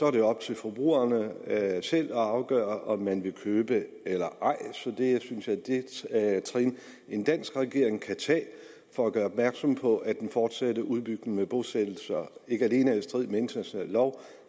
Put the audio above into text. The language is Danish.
er det op til forbrugerne selv at afgøre om man vil købe eller ej så det synes jeg er et skridt en dansk regering kan tage for at gøre opmærksom på at den fortsatte udbygning med bosættelser ikke alene er i strid med international lov